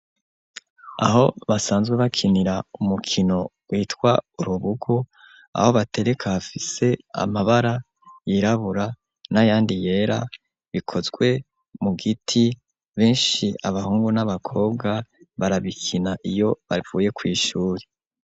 Aho basanzwe bakinira umukino witwa urubugu aho batereka afise amabara yirabura n'a yandi yera bikozwe mu giti benshi abahungu n'abakobwa barabikina iyo bavuye kw'ishuri.